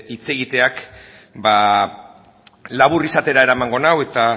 hitz egiteak ba labur izatera eramango nau eta